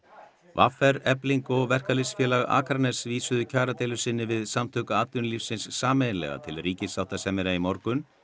v r Efling og Verkalýðsfélag Akraness vísuðu kjaradeilu sinni við Samtök atvinnulífsins sameiginlega til ríkissáttasemjara í morgun